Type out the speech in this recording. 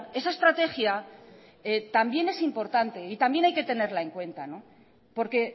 esa estrategia también es importante y también hay que tenerla en cuenta porque